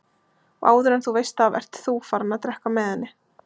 Og áður en þú veist af ert ÞÚ farinn að drekka með henni!